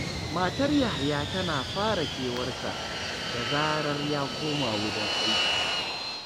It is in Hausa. Matar Yahaya tana fara kewar sa, da zarar ya koma wurin aiki